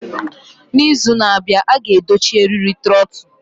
N'izu na-abịa, a ga-edochi eriri trotul.